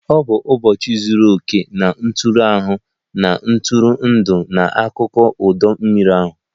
Ọ bụ ụbọchị zuru oke na ntụrụndụ ahụ, na-atụrụ ndụ n'akụkụ ọdọ mmiri ahụ